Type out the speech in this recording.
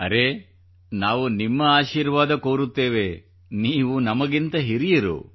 ಅರೇ ನಾವು ನಿಮ್ಮ ಆಶೀರ್ವಾದ ಕೋರುತ್ತೇವೆ ನೀವು ನಮಗಿಂತ ಹಿರಿಯರು